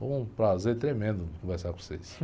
Foi um prazer tremendo conversar com vocês.